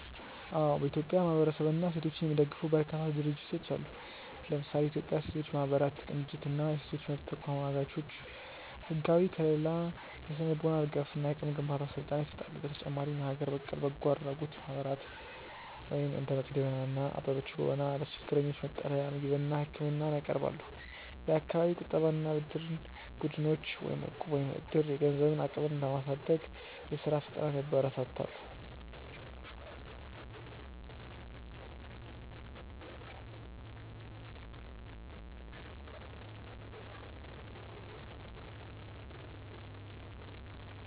አዎ፥ በኢትዮጵያ ማህበረሰብንና ሴቶችን የሚደግፉ በርካታ ድርጅቶች አሉ። ለምሳሌ፦ የኢትዮጵያ ሴቶች ማህበራት ቅንጅት እና የሴቶች መብት ተሟጋቾች፦ ህጋዊ ከልላ፣ የስነ-ልቦና ድጋፍ እና የአቅም ግንባታ ስልጠና ይሰጣሉ። በተጨማሪም የሀገር በቀል በጎ አድራጎት ማህበራት (እንደ መቅዶንያ እና አበበች ጎበና) ለችግረኞች መጠለያ፣ ምግብና ህክምና ያቀርባሉ። የአካባቢ የቁጠባና ብድር ቡድኖች (እቁብ/ዕድር)፦ የገንዘብ አቅምን በማሳደግ የስራ ፈጠራን ያበረታታሉ።